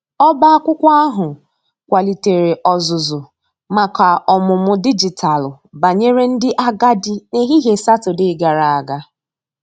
ọba akwụkwo ahu kwalitere ozuzu maka ọmụmụ dịjịtalụ banyere ndi agadi n'ehihie satọde gara aga.